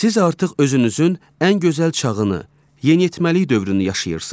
Siz artıq özünüzün ən gözəl çağını, yeniyetməlik dövrünü yaşayırsınız.